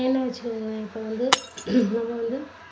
ஏன்னு வச்சுகோங்களேன் இப்போ வந்து நம்ப வந்து